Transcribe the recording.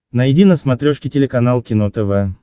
найди на смотрешке телеканал кино тв